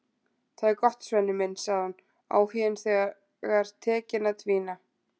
Það er gott, Svenni minn, sagði hún, áhuginn þegar tekinn að dvína.